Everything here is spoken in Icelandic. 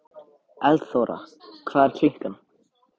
Eldþóra, hvað er klukkan?